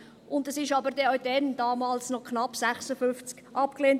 Auch schon damals, 1956, wurde es knapp abgelehnt.